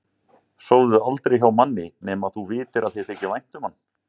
Sofðu aldrei hjá manni nema að þú vitir að þér þyki vænt um hann